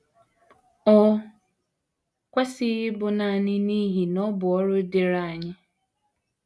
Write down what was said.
O kwesịghị ịbụ nanị n’ihi na ọ bụ ọrụ dịịrị anyị.